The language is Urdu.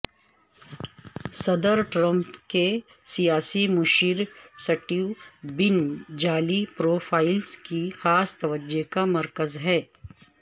صدر ٹرمپ کے سیاسی مشیر سٹیو بین جعلی پروفائلزکی خاص توجہ کا مرکز ہیں